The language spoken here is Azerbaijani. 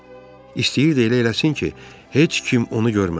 İstəyirdi elə eləsin ki, heç kim onu görməsin.